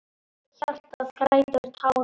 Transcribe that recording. Hjartað grætur, tár renna.